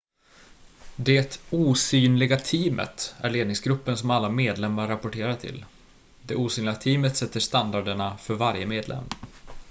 "det "osynliga teamet" är ledningsgruppen som alla medlemmar rapporterar till. det osynliga teamet sätter standarderna för varje medlem.